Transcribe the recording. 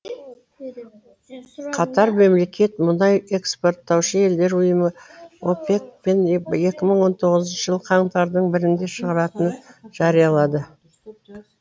катар мемлекет мұнай экспорттаушы елдер ұйымы опек пен екі мың он тоғызыншы жылы қаңтардың бірінде шығаратыны жариялады